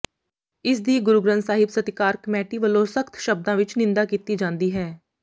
ਇਸਦੀ ਗੁਰੂ ਗ੍ਰੰਥ ਸਾਹਿਬ ਸਤਿਕਾਰ ਕਮੇਟੀ ਵੱਲੋਂ ਸਖਤ ਸ਼ਬਦਾਂ ਵਿਚ ਨਿੰਦਾ ਕੀਤੀ ਜਾਂਦੀ ਹੈ